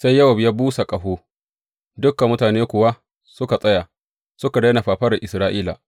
Sai Yowab ya busa ƙaho, dukan mutane kuwa suka tsaya; suka daina fafaran Isra’ila.